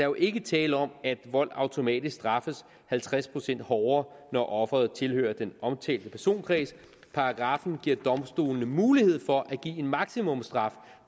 jo ikke tale om at vold automatisk straffes halvtreds procent hårdere når offeret tilhører den omtalte personkreds paragraffen giver domstolene mulighed for at give en maksimumstraf